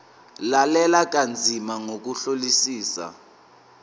lalela kanzima ngokuhlolisisa